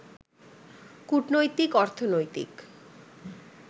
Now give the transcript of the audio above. কূটনৈতিক, অর্থনৈতিক